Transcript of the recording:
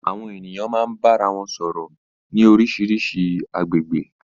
Àwọn ènìyàn máa ń bá ara wọn sọ̀rọ̀ ní oríṣiríṣi agbègbè.